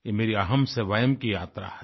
ये मेरी अहम से वयम की यात्रा है